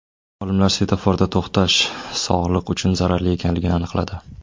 Olimlar svetoforda to‘xtash sog‘liq uchun zararli ekanligini aniqladi.